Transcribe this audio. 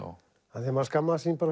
af því maður skammaðist sín